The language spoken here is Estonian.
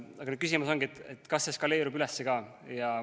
Aga küsimus ongi, kas see eskaleerub üles ka.